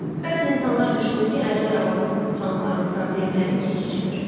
Bəzi insanlar düşünür ki, əlillər arabasında oturanların problemləri keçicidir.